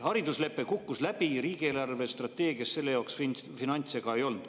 Hariduslepe kukkus läbi, riigi eelarvestrateegias selle jaoks finantse ei olnud.